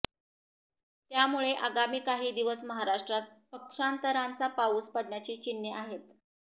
त्यामुळे आगामी काही दिवस महाराष्ट्रात पक्षांतराचा पाऊस पडण्याची चिन्हे आहेत